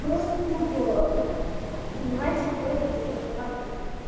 просто тупо мальчик ходит за прокладками